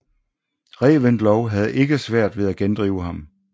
Reventlow havde ikke svært ved at gendrive ham